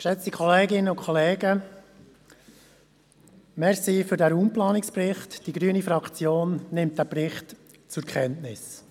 Vielen Dank für den Raumplanungsbericht, die grüne Fraktion nimmt ihn zur Kenntnis.